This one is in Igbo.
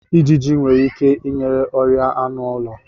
Ijiji nwere ike inye ọrịa anụ ụlọ.